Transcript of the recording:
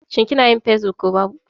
Shin kinayin Facebook ba babu?